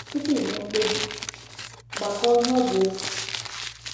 Tupu i mee mkpebi, " gbakọọ ihe ọ ga-efu ."